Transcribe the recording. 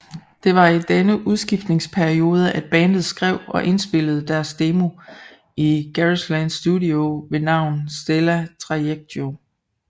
Det var i denne udskiftningsperiode at bandet skrev og indspillede deres demo i Garageland Studio ved navn Stellae Trajectio